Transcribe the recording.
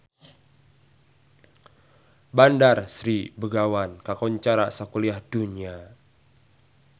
Bandar Sri Begawan kakoncara sakuliah dunya